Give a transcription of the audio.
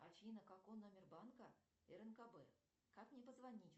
афина какой номер банка рнкб как мне позвонить